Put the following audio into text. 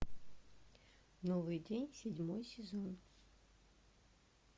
новый день седьмой сезон